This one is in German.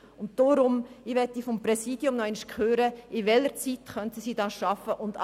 Deshalb würde ich gern vom Präsidium wissen, in welcher Zeit das zu schaffen wäre.